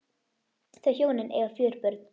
Þau hjónin eiga fjögur börn.